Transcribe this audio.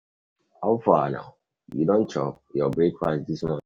How far now? You don chop your breakfast this morning?